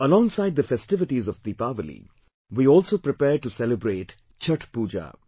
Alongside the festivities of Deepawali, we also prepare to celebrate Chhathh Pooja